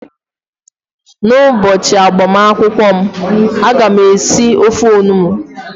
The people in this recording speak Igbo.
n'ụbọchị agbamakwụkwọ m, a ga m esi ofe onugbu